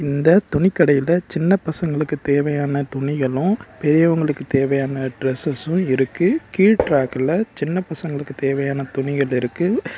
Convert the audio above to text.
இந்த துணிக்கடையில சின்ன பசங்களுக்கு தேவையான துணிகளும் பெரியவங்களுக்கு தேவையான ட்ரெஸஸும் இருக்கு கீழ் ட்ரேக்ல சின்ன பசங்களுக்கு தேவையான துணிகள் இருக்கு.